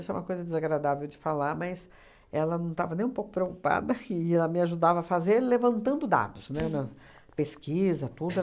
Isso é uma coisa desagradável de falar, mas ela não estava nem um pouco preocupada e ela me ajudava a fazer levantando dados, né, na pesquisa, tudo.